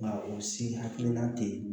Nka o si hakilina tɛ ye